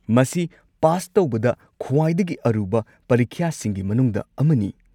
ꯃꯁꯤ ꯄꯥꯁ ꯇꯧꯕꯗ ꯈ꯭ꯋꯥꯏꯗꯒꯤ ꯑꯔꯨꯕ ꯄꯔꯤꯈ꯭ꯌꯥꯁꯤꯡꯒꯤ ꯃꯅꯨꯡꯗ ꯑꯃꯅꯤ꯫